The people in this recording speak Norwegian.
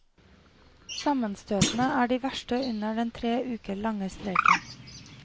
Sammenstøtene er de verste under den tre uker lange streiken.